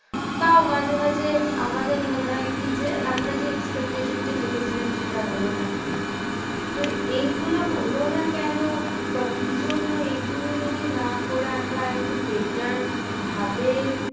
তাও মাঝে মাঝে আমাদের মনে হয় কি যে আমরা যে expectation টা দেখেছিলাম সেটা হলো না। তো এইগুলো হলো না কেন বা কি জন্য এগুলো যদি না করে আমরা আর একটু better ভাবে